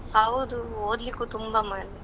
ಹೌದು, ಓದ್ಲಿಕ್ಕೂ ತುಂಬಾ ಮಾರ್ರೆ.